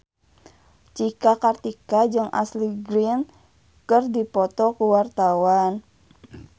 Cika Kartika jeung Ashley Greene keur dipoto ku wartawan